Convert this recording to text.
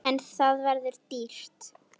En það verður dýrt.